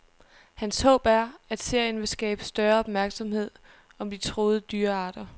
Hans håb er, at serien vil skabe større opmærksomhed om de truede dyrearter.